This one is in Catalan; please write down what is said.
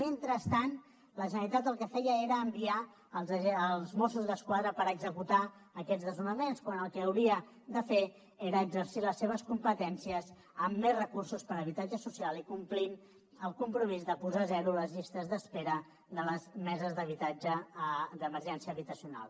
mentrestant la generalitat el que feia era enviar els mossos d’esquadra per executar aquests desnonaments quan el que hauria de fer era exercir les seves competències amb més recursos per a habitatge social i complint el compromís de posar a zero les llistes d’espera de les meses d’habitatge d’emergència habitacional